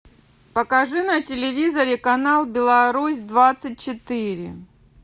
покажи на телевизоре канал беларусь двадцать четыре